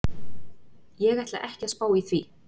Ég ætla ekki að spá í því.